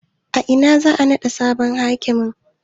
A ina za a naɗa sabon hakimin?